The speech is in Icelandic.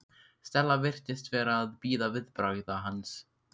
Stella virtist vera að bíða viðbragða hans.